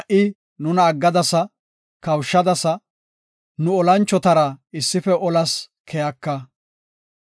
Shin ha77i nuna aggadasa; kawushadasa; nu olanchotara issife olas keyaka.